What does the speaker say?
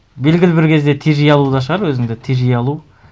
белгілі бір кезде тежей алу да шығар өзіңді тежей алу